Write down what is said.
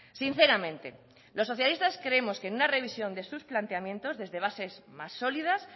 sinceramente los socialistas creemos que en una revisión de sus planteamientos desde bases más sólidas